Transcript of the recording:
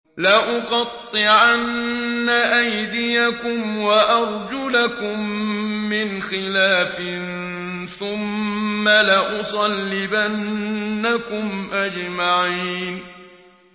لَأُقَطِّعَنَّ أَيْدِيَكُمْ وَأَرْجُلَكُم مِّنْ خِلَافٍ ثُمَّ لَأُصَلِّبَنَّكُمْ أَجْمَعِينَ